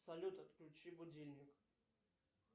салют отключи будильник